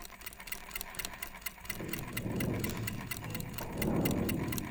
фильм человек паук